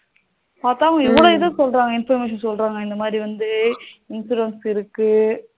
அதான் இவ்வளவு இது சொல்றாங்க information சொல்றாங்க இந்த மாதிரி வந்து insurance இருக்கு